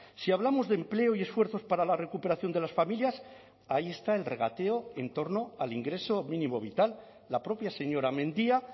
si hablamos de empleo y esfuerzos para la recuperación de las familias ahí está el regateo en torno al ingreso mínimo vital la propia señora mendia